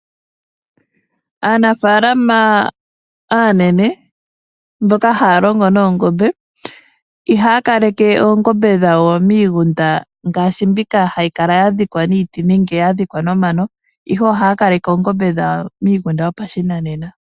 Aanafaalama aanene mboka haya longo noongombe, ihaya kaleke oongombe dhawo miigunda ngaashi mbika hayi kala ya dhikwa niiti nenge ya dhikwa nomano, ihe ohaya kaleke oongombe dhawo miigunda yo pashinanena.